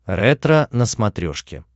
ретро на смотрешке